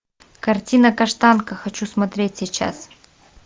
картина каштанка хочу смотреть сейчас